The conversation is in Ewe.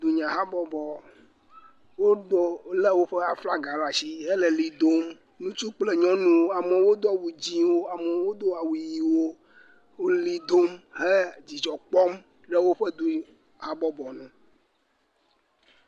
Dunyahabɔbɔ. Wòle woƒe aflaga ɖe asi hele li dom. Ŋutsu kple nyɔnuwo. Amewo Do awu dzɛ, amewo Do awu ɣiwo. Wole li dom he dzidzɔ kpɔm ɖe woƒe du habɔbɔ nu